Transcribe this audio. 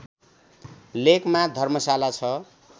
लेकमा धर्मशाला छ